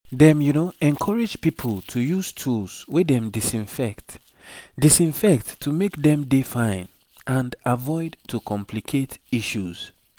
dem encourage pipo to use tools wey dem disinfect disinfect to make dem dey fine and avoid to complicate issues